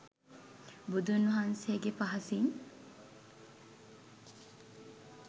බුදුන් වහන්සේගේ පහසින්